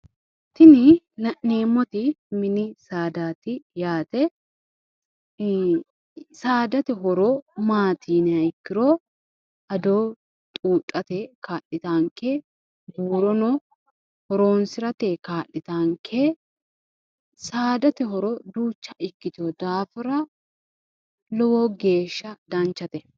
Tini la'neemmoti mini saadati, saadate horo maati yinuummoro ado xudhate buuro adhate kaa'littanonke saadate horo lowo geeshsha danchate